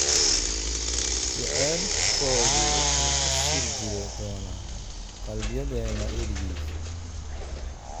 jacaylkoodu wuxuu ku sii jiri doonaa qalbiyadeenna weligiis."